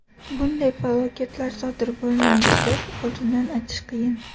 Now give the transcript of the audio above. Bunday falokatlar sodir bo‘lmaydi deb oldindan aytish qiyin.